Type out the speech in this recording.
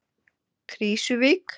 Krísuvík